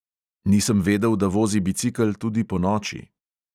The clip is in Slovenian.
Nisem vedel, da vozi bicikel tudi ponoči.